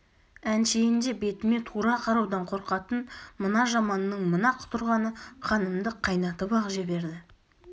әншейінде бетіме тура қараудан қорқатын мына жаманның мына құтырғаны қанымды қайнатып-ақ жіберді